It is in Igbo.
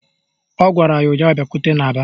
Ọ gwara ya ụnyaahụ " Bịakwute n'aba"!